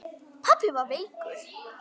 Pabbi var veikur.